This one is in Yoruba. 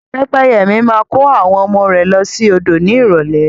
Pẹ́pẹ́yẹ mi máa kó àwọn ọmọ rẹ̀ lọ sí odò ní ìrólé